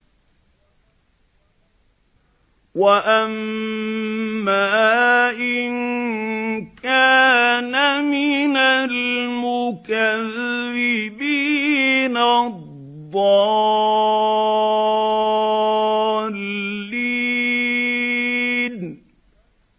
وَأَمَّا إِن كَانَ مِنَ الْمُكَذِّبِينَ الضَّالِّينَ